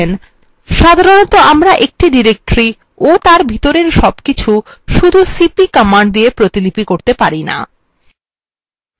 সাধারণত আমরা একটি directory ও তার ভিতরের সবকিছু শুধু cp command দিয়ে প্রতিলিপি করতে পারি না